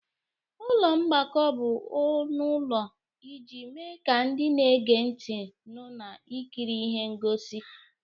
Ụlọ mgbakọ bụ ọnụ ụlọ iji mee ka ndị na-ege ntị nụ na ikiri ihe ngosi.